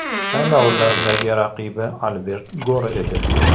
Saylovlardagi raqibi Albert Gor edi.